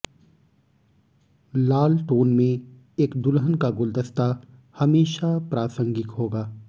लाल tone में एक दुल्हन का गुलदस्ता हमेशा प्रासंगिक होगा